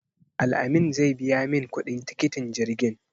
Al-amin zai biya min kuɗin tikitin jirgin.